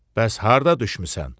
Bəs harda düşmüsən?